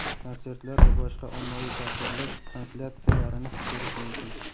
konsertlar va boshqa ommaviy tadbirlar translyatsiyalarini ko‘rish mumkin.